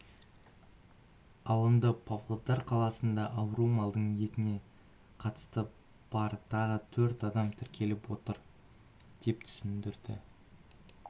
алынды павлодар қаласында ауру малдың етіне қатысы бар тағы төрт адам тіркеліп отыр деп түсіндірді